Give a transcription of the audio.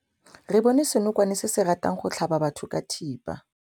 Re bone senokwane se se ratang go tlhaba batho ka thipa.